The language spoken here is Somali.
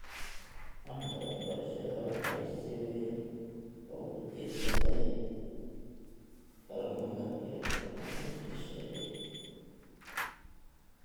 Waaxda waxbarashada waxay si weyn ugu tiirsan tahay kaalmada iyo kaalmada shisheeye.